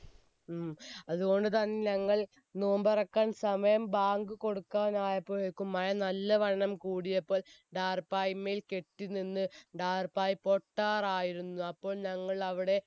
അതുകൊണ്ട് തന്നെ ഞങ്ങൾ നൊമ്പറക്കാൻ സമയം ബാങ്ക് കൊടുക്കാനായപ്പോയേക്കും മഴ നല്ലവണ്ണം കൂടിയപ്പോൾ ടാർപായമേൽ കെട്ടിനിന്ന് ടാർപ്പായ പൊട്ടാറായിരുന്നു അപ്പോൾ ഞങ്ങൾ അവിടെ